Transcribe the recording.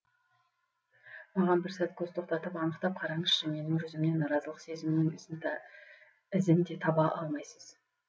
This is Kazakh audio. маған бір сәт көз тоқтатып анықтап қараңызшы менің жүзімнен наразылық сезімінің ізін де таба алмайсыз